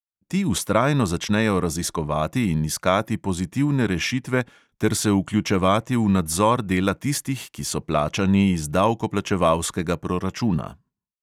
Ti vztrajno začnejo raziskovati in iskati pozitivne rešitve ter se vključevati v nadzor dela tistih, ki so plačani iz davkoplačevalskega proračuna.